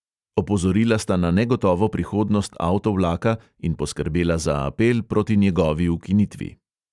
Opozorila sta na negotovo prihodnost avtovlaka in poskrbela za apel proti njegovi ukinitvi.